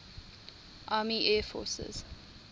army air forces